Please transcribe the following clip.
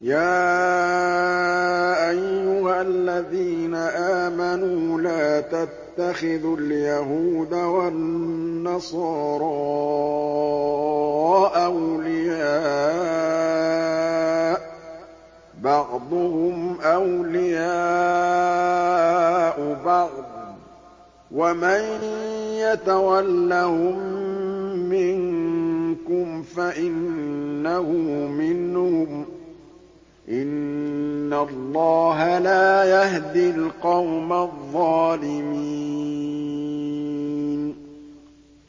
۞ يَا أَيُّهَا الَّذِينَ آمَنُوا لَا تَتَّخِذُوا الْيَهُودَ وَالنَّصَارَىٰ أَوْلِيَاءَ ۘ بَعْضُهُمْ أَوْلِيَاءُ بَعْضٍ ۚ وَمَن يَتَوَلَّهُم مِّنكُمْ فَإِنَّهُ مِنْهُمْ ۗ إِنَّ اللَّهَ لَا يَهْدِي الْقَوْمَ الظَّالِمِينَ